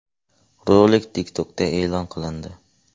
Rolik TikTok’da e’lon qilindi.